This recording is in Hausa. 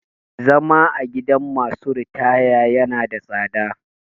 Zama a gidan masu ritaya ya na da tsada